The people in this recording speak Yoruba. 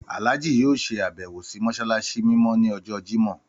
Àlájì yóò ṣe àbẹ́wò sì mọ́ṣáláṣí mímọ́ ni ọjọ́ Jimọh